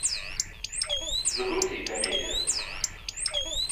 загрузи комедию